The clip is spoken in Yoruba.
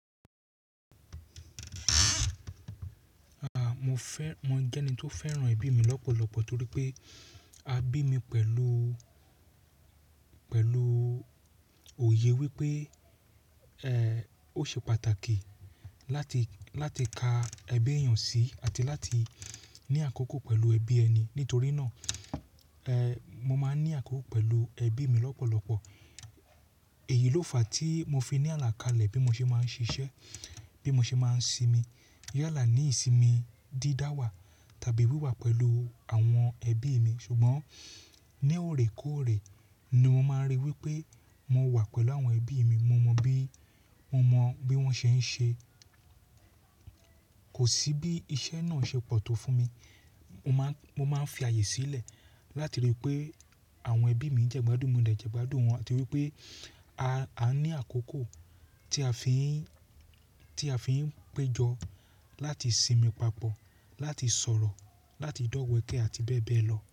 Mo fẹ́, mo jẹ́ ẹni tó fẹ́ràn ẹbí mi lọ́pọ̀lọpọ̀ torí pé a bí mi pẹ̀lú, pẹ̀lú òye wípé, ó ṣe pàtàkì láti, láti ka ẹbí èèyàn sí àti láti ní àkókò pẹ̀lú ẹbí ẹni. Nítorí náà, mo máa ń ní àkókò pẹ̀lú ẹbí mi lọ́pọ̀lọpọ̀. Èyí ló fàá tí mo fi ní àlàkalẹ̀ bí mo ṣe máa ń ṣiṣẹ́, bí mo ṣe máa ń sinmi. Yàlà ní ìsinmi dídáwà tàbí wíwà pẹ̀lú àwọn ẹbí mi. Ṣùgbọ́n ní òrè kóòrè ni mo máa ń rí wípé mo wà pẹ̀lú àwọn ẹbí mi, mo mọ bí, mo mọ bí wọ́n ṣe ń ṣe. Kò sí bí iṣẹ́ náà ṣe pọ̀ tó fún mi. Mo máa ń, mo máa ń fi ààyè sílẹ̀ láti rí i pé àwọn ẹbí mi jẹ́ gbadun, mo dẹ jẹ́ gbadun wọ́n àti wípé, a ní àkókò tí a fi ń, tí a fi ń péjọ láti sinmi papọ̀, láti sọ̀rọ̀, láti dọ̀wẹ̀kẹ̀ àti bẹ́ẹ̀ bẹ́ẹ̀ lọ.